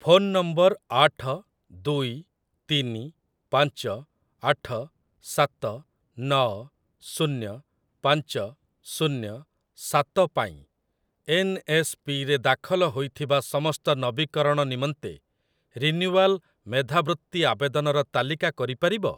Phone number ଆଠ ଦୁଇ ତିନି ପାଞ୍ଚ ଆଠ ସାତ ନଅ ଶୁନ୍ୟ ପାଞ୍ଚ ଶୁନ୍ୟ ସାତ ପାଇଁ ଏନ୍‌ଏସ୍‌ପିରେ ଦାଖଲ ହୋଇଥିବା ସମସ୍ତ ନବୀକରଣ ନିମନ୍ତେ ରିନ୍ୟୁୱାଲ୍ ମେଧାବୃତ୍ତି ଆବେଦନର ତାଲିକା କରି ପାରିବ?